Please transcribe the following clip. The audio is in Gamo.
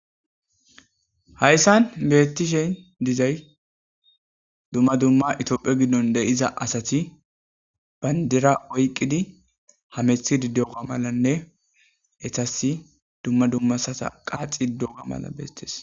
Hayssan beetti shen dizay dumma dumma itoopphe giddon deyiza asati bayndira oyqqidi hamethidi deoga malanne ethasi dumma dummasata qaaxi dega mala bestees.